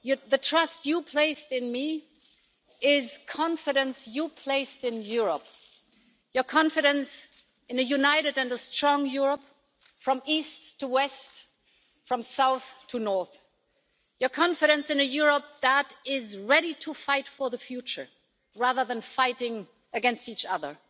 The trust you placed in me is confidence you placed in Europe, your confidence in a united and a strong Europe, from east to west, from south to north, your confidence in a Europe that is ready to fight for the future rather than fighting against each other,